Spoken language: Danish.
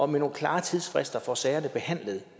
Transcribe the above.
med nogle klare tidsfrister får sagerne behandlet